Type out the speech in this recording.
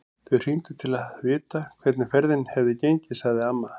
Þau hringdu til að vita hvernig ferðin hefði gengið, sagði amma.